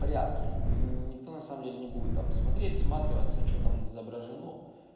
порядки никто на самом деле не будет там смотреть всматриваться что там изображено